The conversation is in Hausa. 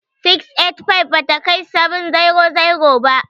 685 bata kai 700 ba.